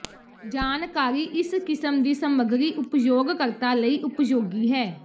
ਜਾਣਕਾਰੀ ਇਸ ਕਿਸਮ ਦੀ ਸਮੱਗਰੀ ਉਪਯੋਗਕਰਤਾ ਲਈ ਉਪਯੋਗੀ ਹੈ